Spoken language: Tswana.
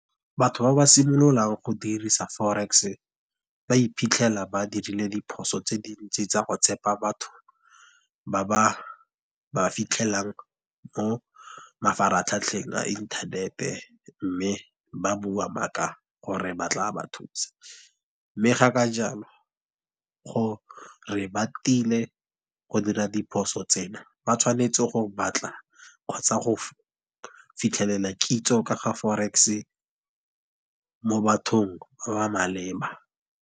Batho ba ba simololang go dirisa forex, ba iphitlhela ba dirile diphoso tse dintsi tsa go tshepa batho, ba ba ba fitlhelelang mo mafaratlhatlheng a inthanete. Mme ba bua maaka gore ba tla ba thusa, mme ga ka jalo go re ba tile go dira diphoso tsena, ba tshwanetse go batla kgotsa go fitlhelela kitso ka ga forex mo bathong ba ba maleba.